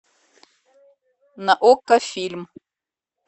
на окко фильм